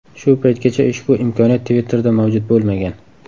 Shu paytgacha ushbu imkoniyat Twitter’da mavjud bo‘lmagan.